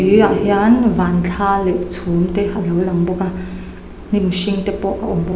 hian van thla leh chhum te alo lang bawk a hnim hring te pawh a awm bawk --